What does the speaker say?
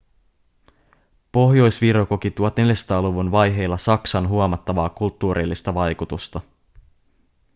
pohjois-viro koki 1400-luvun vaiheilla saksan huomattavaa kulttuurillista vaikutusta